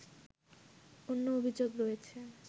অন্য অভিযোগ রয়েছে